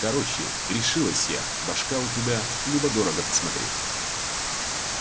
короче решилась я башка у тебя любо дорого посмотреть